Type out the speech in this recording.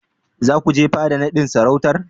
Za ku je fada naɗin sarautar?